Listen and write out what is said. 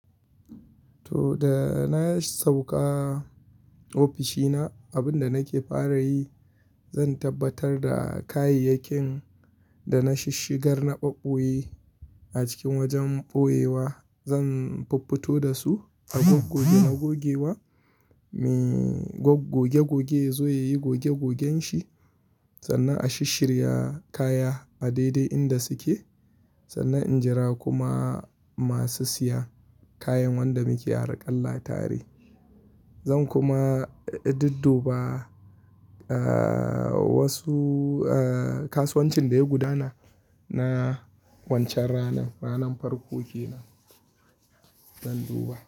To, da na sauka ofishina abinda nake fara yi zan tabbatar da kayayyakin da na shishigar na ɓaɓɓoye a cikin wajen ɓoyewa. Zan fuffuto da su a gogge gogge na gogewa. Me gogge gogge ya zo ya yi gogge goggen shi sannan a shishrya kaya a daidai inda suke. Sannan in jira kuma masu siya kayan wanda muke haraƙalla tare. Zan kuma dudduba, aaah, wasu, aaah, kasuwancin da ya gudana na wancan ranan, ranan farko kenan zan duba.